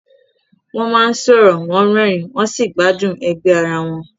Wọ́n máa ń sọ̀rọ̀, wọ́n rẹ́rìn-ín, wọ́n sì gbádùn ẹgbẹ́ ara wọn.